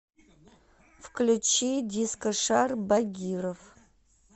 включи дискошар багиров